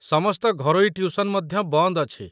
ସମସ୍ତ ଘରୋଇ ଟ୍ୟୁସନ ମଧ୍ୟ ବନ୍ଦ ଅଛି।